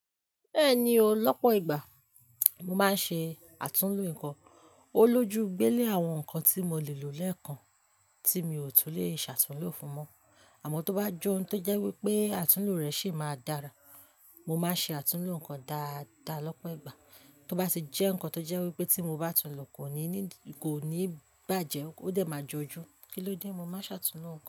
Bẹ́ẹ̀ni o. Lọ́pọ̀ ìgbà mo máa ń ṣe àtúnlo ǹkan, ó lójú gbé lé àwọn ǹkan tí mo le lò lẹ́ẹ̀kan tí mi ò tún leè ṣàtúnlo fún mọ́. Àmọ́ tó bá jọ́ ohun tó jẹ́ wípé àtúnlo rẹ̀ sì máa dára, mo máa ṣe àtúnlo ǹkan dáadáa lọ́pọ̀ ìgbà. Tó bá sì jẹ́ ǹkan tó jẹ́ wípé tí mo bá tún lo kò ní ní, kò ní bàjẹ́, ó dẹ̀ máa jọjú. Kí ló dé? Mo máa ṣàtúnlo ǹkan.